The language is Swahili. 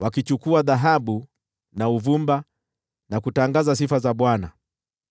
wakichukua dhahabu na uvumba na kutangaza sifa za Bwana .